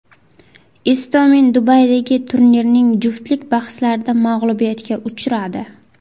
Istomin Dubaydagi turnirning juftlik bahslarida mag‘lubiyatga uchradi.